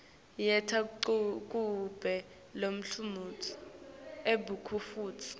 yenta kube nelutsandvo kubantfu